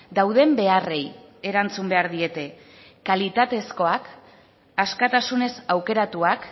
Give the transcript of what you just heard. dauden beharrei erantzun behar diete kalitatezkoak askatasunez aukeratuak